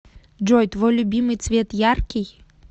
джой твой любимый цвет яркий